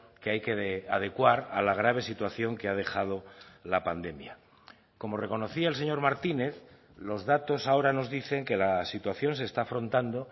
que hay que adecuar a la grave situación que ha dejado la pandemia como reconocía el señor martínez los datos ahora nos dicen que la situación se está afrontando